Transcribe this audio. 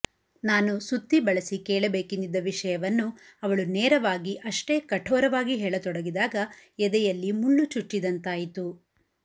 ನಾನು ಸುತ್ತಿ ಬಳಸಿಕೇಳಬೇಕೆಂದಿದ್ದ ವಿಷಯವನ್ನು ಅವಳು ನೇರವಾಗಿ ಅಷ್ಟೇ ಕಠೋರವಾಗಿ ಹೇಳತೊಡಗಿದಾಗ ಎದೆಯಲ್ಲಿ ಮುಳ್ಳು ಚುಚ್ಚಿದಂತಾಯಿತು